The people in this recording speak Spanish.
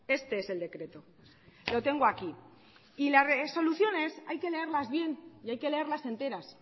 este es el decreto lo tengo aquí y las resoluciones hay que leerlas bien y hay que leerlas enteras